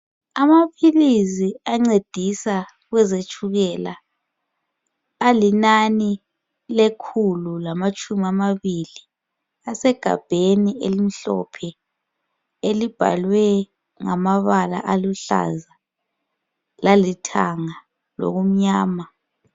Amaphilizi ancedisa kwezetshukela alinani lekhulu lamatshumi amabili. Asegabheni elimhlophe elibhalwe ngamabala aluhlaza lalithanga lokumnyama.